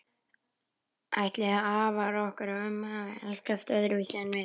Ætli afar okkar og ömmur hafi elskast öðruvísi en við?